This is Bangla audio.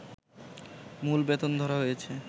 মূল বেতন ধরা হয়েছে